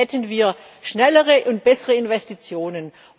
Dann hätten wir schnellere und bessere Investitionen.